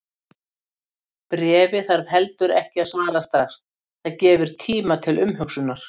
Bréfi þarf heldur ekki að svara strax, það gefur tíma til umhugsunar.